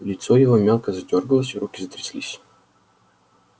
лицо его мелко задёргалось руки затряслись